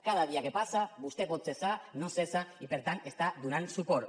cada dia que passa vostè el pot cessar no el cessa i per tant li està donant suport